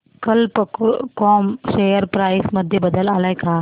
कल्प कॉम share price मध्ये बदल आलाय का